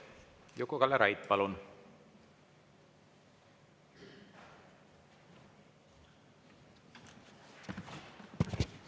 Juku-Kalle Raid, palun!